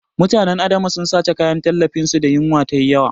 Mutanen Adamawa sun sace kayan tallafin su da yinwa yayi yawa